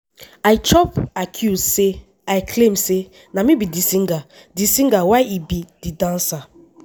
i chop accuse say i claim say na me be di singer di singer while e be di dancer.